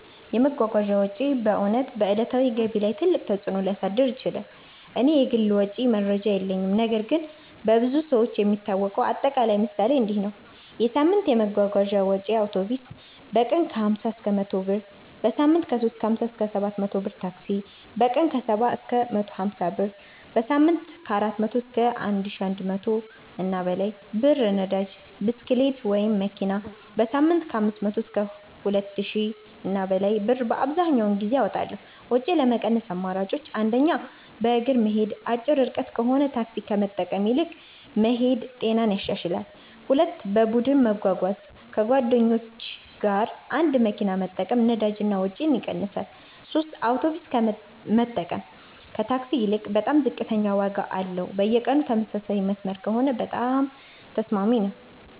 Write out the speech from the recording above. የመጓጓዣ ወጪ በእውነት በዕለታዊ ገቢ ላይ ትልቅ ተፅእኖ ሊያሳድር ይችላል። እኔ የግል ወጪ መረጃ የለኝም ነገር ግን በብዙ ሰዎች የሚታወቀው አጠቃላይ ምሳሌ እንዲህ ነው፦ የሳምንት የመጓጓዣ ወጪዬ አውቶቡስ: በቀን 50–100 ብር → በሳምንት 350–700 ብር ታክሲ: በቀን 70–150 ብር → በሳምንት 400–1100+ ብር ነዳጅ (ብስክሌት/መኪና): በሳምንት 500–2000+ ብር አብዘሀኛውን ጊዜ አወጣለሁ ወጪ ለመቀነስ አማራጮች 1. በእግር መሄድ አጭር ርቀት ከሆነ ታክሲ ከመጠቀም ይልቅ መሄድ ጤናንም ያሻሽላል 2. በቡድን መጓጓዣ ከጓደኞች ጋር አንድ መኪና መጠቀም ነዳጅ እና ወጪ ይቀንሳል 3 የአውቶቡስ መጠቀም ከታክሲ ይልቅ በጣም ዝቅተኛ ዋጋ አለው በየቀኑ ተመሳሳይ መስመር ከሆነ በጣም ተስማሚ ነው